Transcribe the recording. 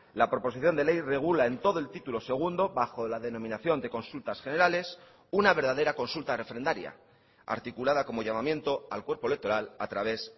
la proposición de ley regula en todo el título segundo bajo la denominación de consultas generales una verdadera consulta refrendaria articulada como llamamiento al cuerpo electoral a través